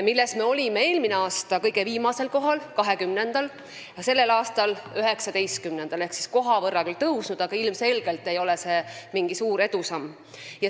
Selle koha pealt olime eelmisel aastal kõige viimasel, 20. kohal, sellel aastal oleme 19-ndad ehk koha võrra tõusnud, aga ilmselgelt ei ole see mingi suur edusamm.